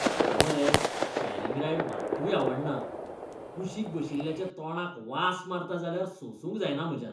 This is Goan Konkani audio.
म्हाका मरे शॅरिंग रायड मात्तूय आवडना, कुशीक बशिल्ल्याच्या तोंडाक वास मारता जाल्यार सोंसूंक जायना म्हज्यान.